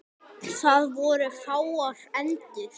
Það voru fáar endur.